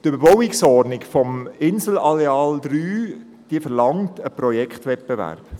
Die «Überbauungsordnung Insel Areal III» verlangt einen Projektwettbewerb.